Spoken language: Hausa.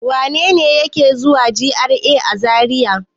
Wane ne yake zuwa GRA a Zariya?